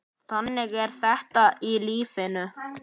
Þannig er þetta í lífinu.